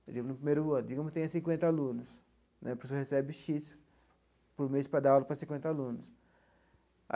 Por exemplo, no primeiro ano, digamos que tenha cinquenta alunos né, o professor recebe xis por mês para dar aula para cinquenta alunos.